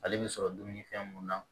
Ale bɛ sɔrɔ dumuni fɛn mun na